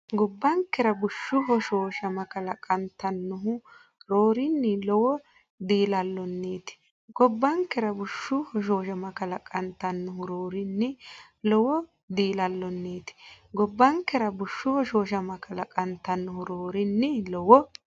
Gobbankera bushshu hoshooshama kalaqantannohu roorinni lowo diilallonniiti Gobbankera bushshu hoshooshama kalaqantannohu roorinni lowo diilallonniiti Gobbankera bushshu hoshooshama kalaqantannohu roorinni lowo.